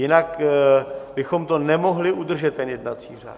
Jinak bychom to nemohli udržet, ten jednací řád.